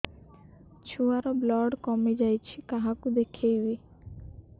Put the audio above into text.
ଛୁଆ ର ବ୍ଲଡ଼ କମି ଯାଉଛି କାହାକୁ ଦେଖେଇବି